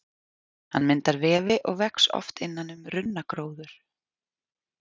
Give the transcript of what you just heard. Hann myndar vefi og vex oft innan um runnagróður.